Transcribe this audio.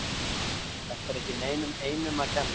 Þetta er ekki neinum einum að kenna.